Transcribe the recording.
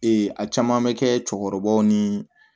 a caman bɛ kɛ cɛkɔrɔbaw ni